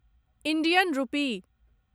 Indian रूपी